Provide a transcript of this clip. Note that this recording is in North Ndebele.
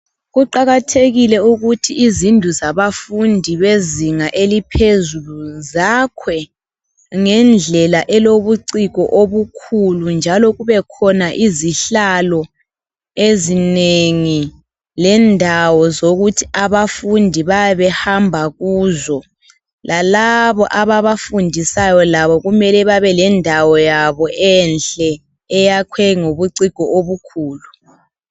Kuqakathekile ukuthi izindlu zabafundi abezinga eliphezulu zakhwe ngendlela elobuciko obukhulu njalo kubekhona izihlalo ezinengi lendawo zokuthi abafundi bayabe behamba kuzo, lalabo ababafundisayo kumele babe lendawo yabo enhle eyakhiwe ngobuciko obukhulu.